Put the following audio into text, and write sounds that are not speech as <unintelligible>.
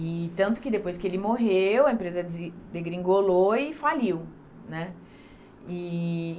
E tanto que depois que ele morreu, a empresa <unintelligible> degringolou e faliu, né? E